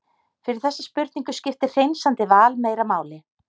Fyrir þessa spurningu skiptir hreinsandi val meira máli.